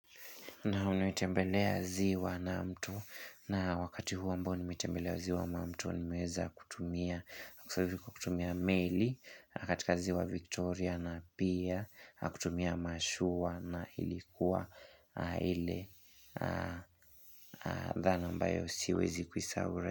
Naam nimetembelea ziwa na mto na wakati huo ambao nimetembelea ziwa na mto nimeweza kutumia, kutumia meli katika ziwa Victoria na pia kutumia mashua na ilikuwa ile dhana ambayo siwezi kuisahau.